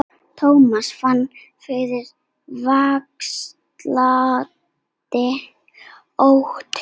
Thomas fann fyrir vaxandi ónotum.